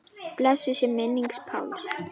Blessuð sé minning Páls.